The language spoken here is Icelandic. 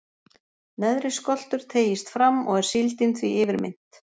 Neðri skoltur teygist fram, og er síldin því yfirmynnt.